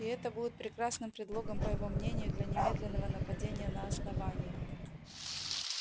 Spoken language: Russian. и это будет прекрасным предлогом по его мнению для немедленного нападения на основание